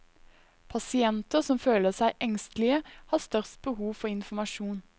Pasienter som føler seg engstelige, har størst behov for informasjon.